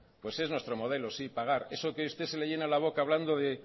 pues es nuestro modelo sí pagar eso que a usted se le llena la boca hablando de